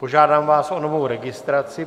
Požádám vás o novou registraci.